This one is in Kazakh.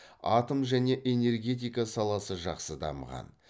атом және энергетика саласы жақсы дамыған